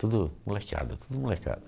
Tudo molecada, tudo molecada.